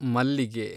ಮಲ್ಲಿಗೆ